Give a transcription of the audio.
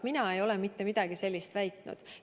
Mina ei ole mitte midagi sellist väitnud.